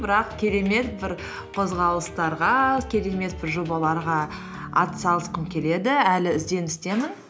бірақ керемет бір қозғалыстарға керемет бір жобаларға атсалысқым келеді әлі ізденістемін